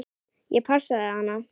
Ég passaði hana.